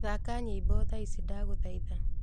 thaka nyīmbo thaa ici ndagūthaitha